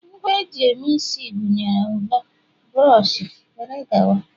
Ngwa eji eme isi gụnyere mfor, buroshi, wdg